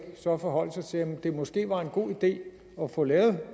forholde sig til om det måske var en god idé at få lavet